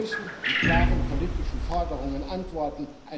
Wir müssen mit klaren politischen Forderungen antworten.